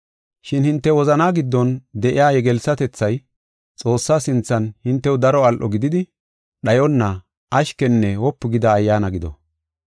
Shin hinte wozanaa giddon de7iya yegelsatethay Xoossaa sinthan hintew daro al7o gididi dhayonna, ashkenne wopu gida ayyaana gido.